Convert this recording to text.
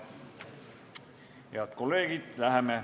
Head kolleegid!